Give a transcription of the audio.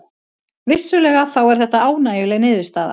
Vissulega þá er þetta ánægjuleg niðurstaða